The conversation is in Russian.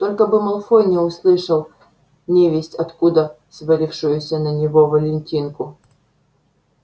только бы малфой не услышал невесть откуда свалившуюся на него валентинку